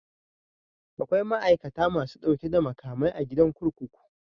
Akwai ma'aikata masu ɗauke da makamai a gidajen kurkuku.